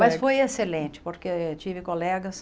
Mas foi excelente, porque tive colegas.